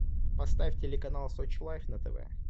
поставь телеканал сочи лайв на тв